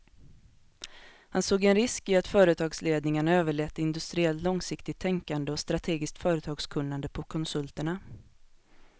Han såg en risk i att företagsledningarna överlät industriellt långsiktigt tänkande och strategiskt företagskunnande på konsulterna.